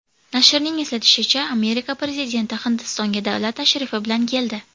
Nashrning eslatishicha, Amerika prezidenti Hindistonga davlat tashrifi bilan keldi.